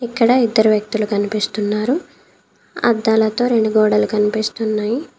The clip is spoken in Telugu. ఇక్కడ ఇద్దరు వ్యక్తులు కనిపిస్తున్నారు. అద్దాలతో రెండు గోడలు కనిపిస్తున్నాయి.